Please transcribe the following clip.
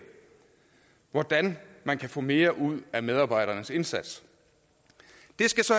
hvordan man kan få mere ud af medarbejdernes indsats det skal så